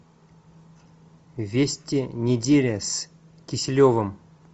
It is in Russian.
вести недели с киселевым